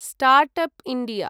start up India